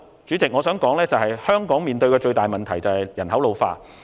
主席，最後我想指出，香港面對的最大問題是人口老化。